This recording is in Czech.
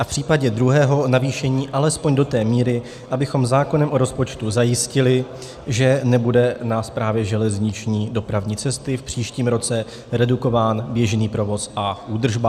A v případě druhého navýšení alespoň do té míry, abychom zákonem o rozpočtu zajistili, že nebude na Správě železniční dopravní cesty v příštím roce redukován běžný provoz a údržba.